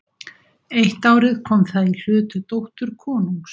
Eitt árið kom það í hlut dóttur konungs.